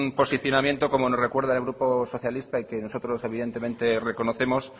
posicionamiento como nos recuerda el grupo socialista y que nosotros evidentemente reconocemos